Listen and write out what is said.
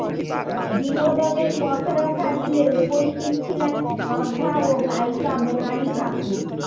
বিনোদনের পসরা সাজিয়ে উপস্থিত ছিলেন শ্রদ্ধা ও গায়িকা মোনালি ঠাকুর